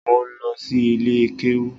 Mo lọ si ilé kéwú